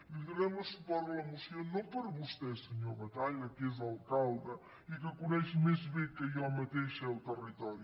i donarem suport a la moció no per vostè senyor batalla que és l’alcalde i que coneix més bé que jo mateixa el territori